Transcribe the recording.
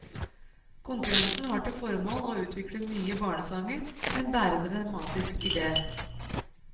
Konkurransen har til formål å utvikle nye barnesanger med en bærende dramatisk idé.